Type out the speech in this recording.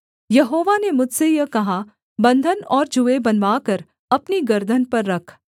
यहोवा ने मुझसे यह कहा बन्धन और जूए बनवाकर अपनी गर्दन पर रख